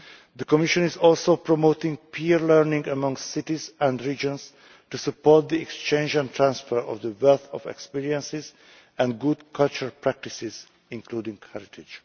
The Commission is also promoting peer learning among cities and regions to support the exchange and transfer of the wealth of experience and good cultural practices, including heritage.